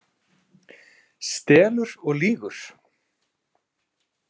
Stelur og lýgur!